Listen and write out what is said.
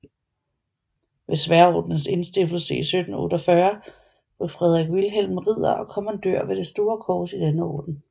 Ved Sværdordenens indstiftelse i 1748 blev Fredrik Vilhelm ridder og kommandør med det store kors i denne orden